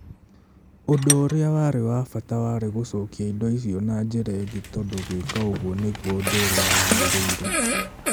Ũndũ ũrĩa warĩ wa bata warĩ gũcokia indo icio na njĩra ĩngĩ tondũ gwĩka ũguo nĩguo ũndũ ũrĩa wagĩrĩire.